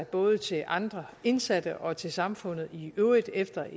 både til andre indsatte og til samfundet i øvrigt efter